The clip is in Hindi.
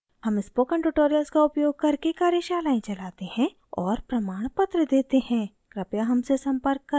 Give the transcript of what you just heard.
हम spoken tutorials का उपयोग करके कार्यशालाएं चलाते हैं और प्रमाणपत्र देते हैं कृपया हमसे संपर्क करें